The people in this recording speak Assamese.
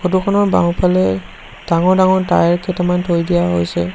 ফটো খনৰ বাওঁফালে ডাঙৰ ডাঙৰ টায়াৰ কেইটামান থৈ দিয়া হৈছে।